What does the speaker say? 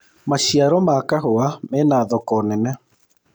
maciaro ma kahũa mena thoko nene